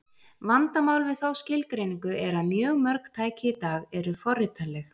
Vandamál við þá skilgreiningu er að mjög mörg tæki í dag eru forritanleg.